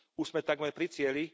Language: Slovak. Už sme takmer pri cieli.